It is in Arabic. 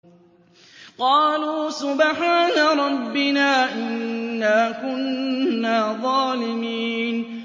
قَالُوا سُبْحَانَ رَبِّنَا إِنَّا كُنَّا ظَالِمِينَ